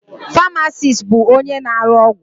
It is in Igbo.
Famasis bụ onye na-arụ ọgwụ.